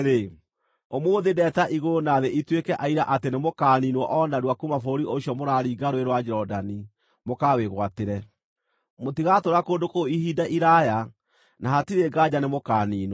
ũmũthĩ ndeeta igũrũ na thĩ ituĩke aira atĩ nĩmũkaniinwo o narua kuuma bũrũri ũcio mũraringa Rũũĩ rwa Jorodani mũkawĩgwatĩre. Mũtigatũũra kũndũ kũu ihinda iraaya na hatirĩ nganja nĩ mũkaaniinwo.